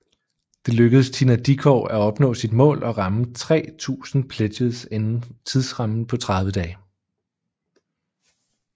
Det lykkedes Tina Dickow at opnå sit mål og ramme 3000 pledges inden tidsrammen på 30 dage